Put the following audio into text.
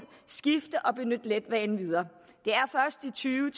skifte og benytte letbanen videre og tyve